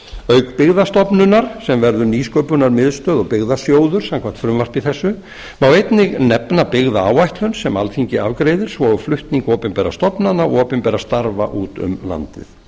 auk byggðastofnunar sem verður nýsköpunarmiðstöð og byggðasjóður samkvæmt frumvarpi þessu má einnig nefna byggðaáætlun sem alþingi afgreiðir svo og flutning opinberra stofnana og opinberra starfa út um landið